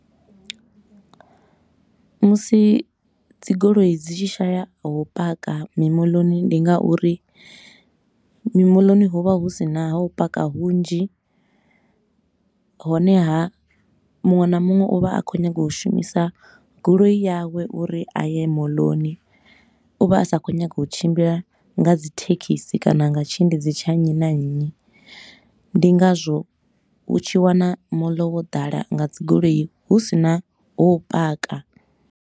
Musi dzi goloi dzi tshi shaya ha u paka mimoḽoni, ndi nga uri mimoḽoni ho vha hu si na ha u paka hunzhi. Honeha, muṅwe na muṅwe u vha a khou nyaga u shumisa goloi yawe uri a ye moḽoni, u vha a sa khou nyaga u tshimbila nga dzi thekhisi kana nga tshiendedzi tsha nnyi na nnyi. Ndi ngazwo u tshi wana moḽo wo ḓala nga dzi goloi hu sina ha u paka.